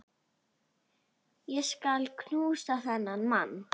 Ég skal knúsa þennan mann!